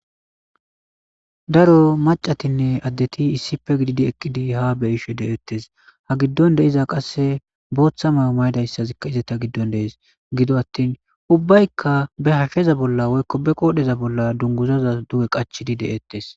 Daro macatinne addetti issippe gididi eqqidi ha be'ishe de'etes ha giddon de'iza booththa mayo mayidageykka izette giddon dees gido attin uubbay be hashsheza bolla woykko ba qodhdhe bolla dunguzoza duuge qachchidii de'etes